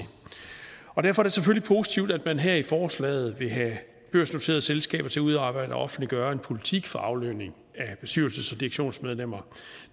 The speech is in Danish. derfor er det selvfølgelig positivt at man her i forslaget vil have børsnoterede selskaber til at udarbejde og offentliggøre en politik for aflønning af bestyrelses og direktionsmedlemmer